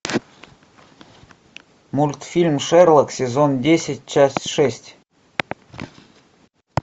мультфильм шерлок сезон десять часть шесть